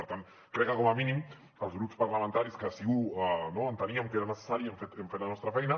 per tant crec que com a mínim els grups parlamentaris que sí que no enteníem que era necessari hem fet la nostra feina